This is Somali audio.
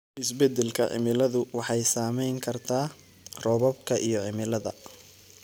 Isbeddelka cimiladu waxay saameyn kartaa roobabka iyo cimilada.